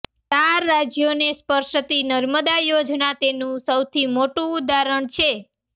ચાર રાજ્યોને સ્પર્શતી નર્મદા યોજના તેનું સૌથી મોટું ઉદાહરણ છે